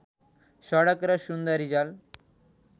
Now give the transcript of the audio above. सडक र सुन्दरीजल